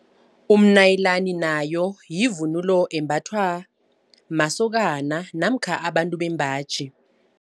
Umnayilani nayo yivunulo embathwa masokana namkha abantu bembaji.